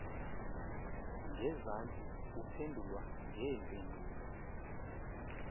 ngezantsi uphendulwa ngeempendulo